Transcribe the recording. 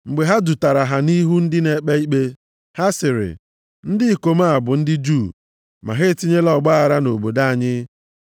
Mgbe ha dutara ha nʼihu ndị na-ekpe ikpe ha sịrị, “Ndị ikom a bụ ndị Juu ma ha etinyela ọgbaaghara nʼobodo anyị,